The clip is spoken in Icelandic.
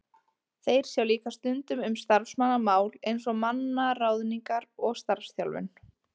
Þeir sjá líka stundum um starfsmannamál eins og mannaráðningar og starfsþjálfun.